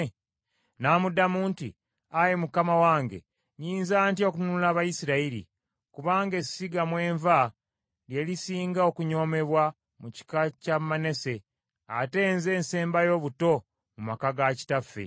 N’amuddamu nti, “Ayi Mukama wange, nnyinza ntya okununula Abayisirayiri? Kubanga essiga mwe nva lye lisinga okunyoomebwa mu kika kya Manase ate nze nsembayo obuto mu maka ga kitaffe.”